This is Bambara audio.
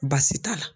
Baasi t'a la